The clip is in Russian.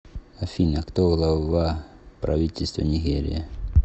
афина кто глава правительства нигерия